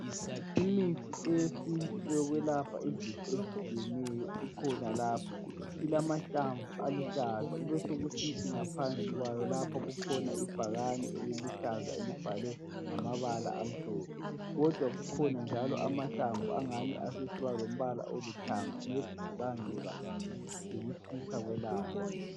Imithi eyesintu eyokwelapha izifo ezitshiyeneyo ikhona lapha ilamahlamvu aluhlaza kubesokusithi ngaphansi kwayo lapho kukhona ibhakane eliluhlaza elibhalwe ngamabala amhlophe. Kodwa kukhona njalo amahlamvu asesiba lombala olithanga "maybe" kubangelwa yikutshisa kwelanga.